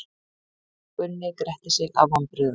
Gunni gretti sig af vonbrigðum.